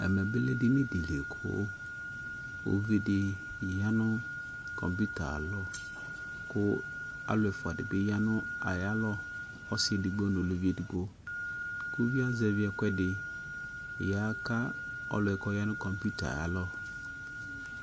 Ɛmɛ bi lɛ edini di li ku uvidi ya nu kɔmpiuta ayu alɔ ku alu ɛfua di bi ya nu ayalɔ ɔsi edigbo nu uluvi edigbo ku uvi yɛ azɛvi ɛku ɛdi ya aka ɔlu yɛ ku ɔya nu kɔmpiuta yɛ ayalɔ